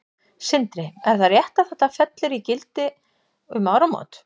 Sindri: Er það rétt að þetta fellur í gildi úr gildi um áramót?